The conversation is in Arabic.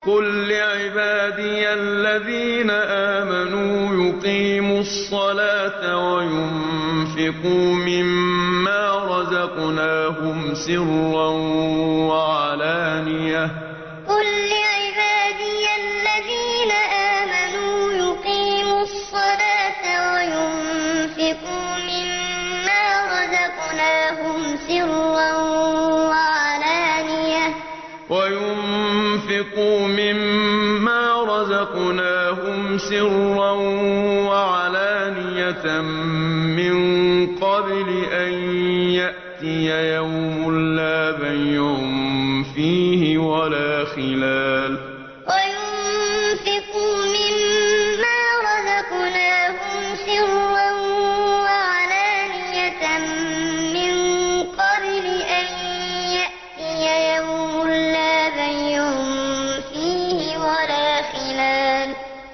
قُل لِّعِبَادِيَ الَّذِينَ آمَنُوا يُقِيمُوا الصَّلَاةَ وَيُنفِقُوا مِمَّا رَزَقْنَاهُمْ سِرًّا وَعَلَانِيَةً مِّن قَبْلِ أَن يَأْتِيَ يَوْمٌ لَّا بَيْعٌ فِيهِ وَلَا خِلَالٌ قُل لِّعِبَادِيَ الَّذِينَ آمَنُوا يُقِيمُوا الصَّلَاةَ وَيُنفِقُوا مِمَّا رَزَقْنَاهُمْ سِرًّا وَعَلَانِيَةً مِّن قَبْلِ أَن يَأْتِيَ يَوْمٌ لَّا بَيْعٌ فِيهِ وَلَا خِلَالٌ